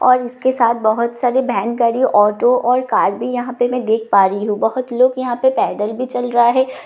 और इसके साथ बहुत सारे वैन गाड़ी ऑटो और कार भी यहाँ पे मैं देख पा रही हूँ बहुत लोग यहाँ पे पैदल भी चल रहा है।